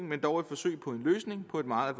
men dog et forsøg på en løsning på et meget